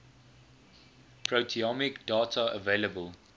proteomic data available